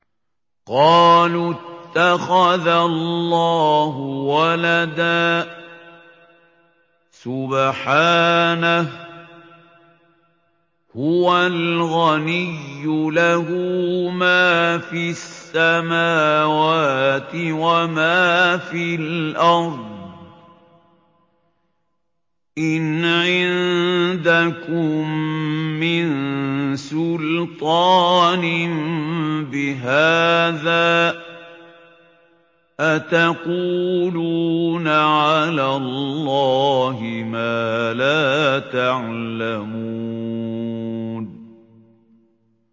قَالُوا اتَّخَذَ اللَّهُ وَلَدًا ۗ سُبْحَانَهُ ۖ هُوَ الْغَنِيُّ ۖ لَهُ مَا فِي السَّمَاوَاتِ وَمَا فِي الْأَرْضِ ۚ إِنْ عِندَكُم مِّن سُلْطَانٍ بِهَٰذَا ۚ أَتَقُولُونَ عَلَى اللَّهِ مَا لَا تَعْلَمُونَ